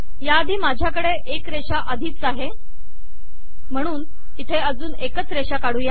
याआधी माझ्याकडे एक रेषा आधीच आहे म्हणून इथे अजून एकच रेषा काढू या